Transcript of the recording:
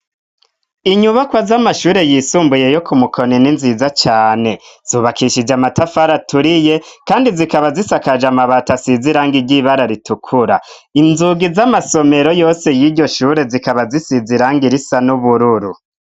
Inyubakwa z'amashure yisumbuye yo ku Mukoni n'inziza cane zubakishije amatafara aturiye kandi zikaba zisakaje amabati asiziranga iry'ibara ritukura. Inzugi z'amasomero yose y'iryo shure zikaba zisiziranga irisa n'ubururu.